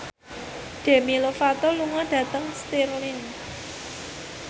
Demi Lovato lunga dhateng Stirling